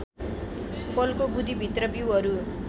फलको गुदीभित्र बीउहरू